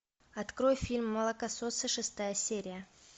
открой фильм молокососы шестая серия